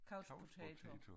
Couch potato